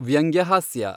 ವ್ಯಂಗ್ಯ ಹಾಸ್ಯ